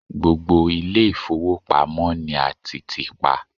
gbogbo ile ifowopamọ ni a ti ti pa